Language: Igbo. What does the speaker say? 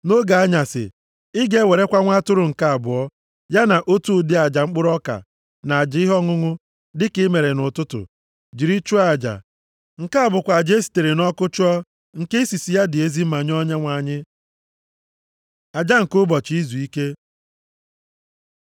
Nʼoge anyasị, ị ga-ewerekwa nwa atụrụ nke abụọ, ya na otu ụdị aja mkpụrụ ọka na aja ihe ọṅụṅụ dị ka i mere nʼụtụtụ, jiri chụọ aja. Nke a bụkwa aja e sitere nʼọkụ chụọ, nke isisi ya dị ezi mma nye Onyenwe anyị. Aja nke ụbọchị izuike